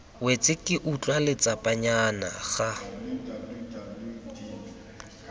wetse ke utlwa letsapanyana ga